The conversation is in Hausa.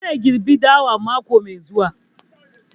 Zai girɓe dawan mako mai zuwa